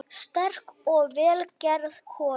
Sterk og vel gerð kona.